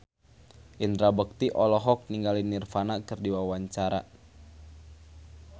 Indra Bekti olohok ningali Nirvana keur diwawancara